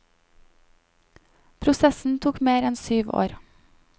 Prosessen tok mer enn syv år.